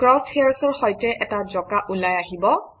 cross hairs অৰ সৈতে এটা জঁকা ওলাই আহিব